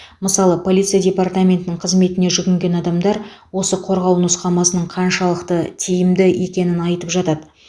мысалы полиция департаментінің қызметіне жүгінген адамдар осы қорғау нұсқамасының қаншалықты тиімді екенін айтып жатады